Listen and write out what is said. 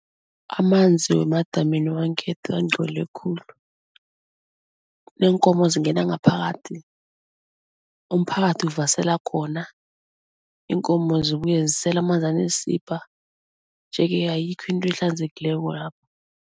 Amanzi wemadamini wangekhethu angcole khulu, neenkomo zingena ngaphakathi, umphakathi uvasela khona, iinkomo zibuye zisele amanzi aneensibha nje-ke ayikho into ehlanzekileko lapho.